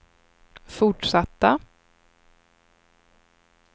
fortsatta